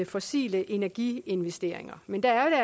fossile energiinvesteringer men det er